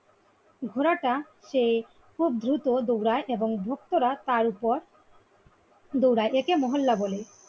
ঘোড়াটা সেই খুব দ্রুত দৌড়ায় এবং ধূপ তোরা তারওপর দৌড়ায় একে মহল্লা বলে।